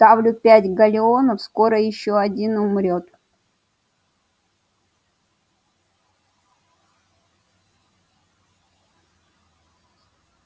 ставлю пять галлеонов скоро ещё один умрёт